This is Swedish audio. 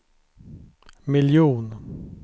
miljon